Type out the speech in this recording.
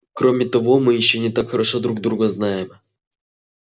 кроме того мы ещё не так хорошо друг друга знаем